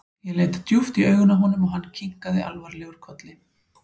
Ég leit djúpt í augun á honum og hann kinkaði alvarlegur kolli.